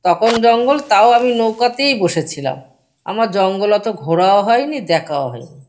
তখন জঙ্গল তাও আমি নৌকাতেই বসে ছিলাম। আমার জঙ্গল ওতো ঘোরাও হয়নি দেখাও হয়নি।